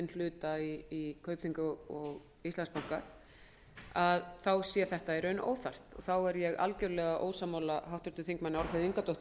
hluta í kaupþingi og íslandsbanka sé þetta í raun óþarft þá er ég algjörlega ósammála háttvirtum þingmanni álfheiði ingadóttur